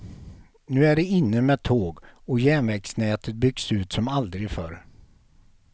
Nu är det inne med tåg, och järnvägsnätet byggs ut som aldrig förr.